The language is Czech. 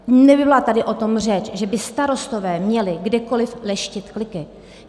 Nebyla tady o tom řeč, že by starostové měli kdekoliv leštit kliky.